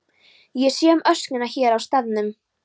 Ég sé um öskuna hér á staðnum.